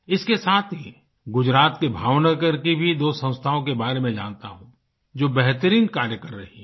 इसके साथ ही गुजरात के भावनगर की भी दो संस्थाओं के बारे में जानता हूँ जो बेहतरीन कार्य कर रही हैं